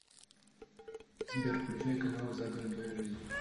сбер включай каналы загородная жизнь